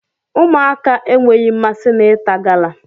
Ụmụaka enweghị mmasị na ịta gala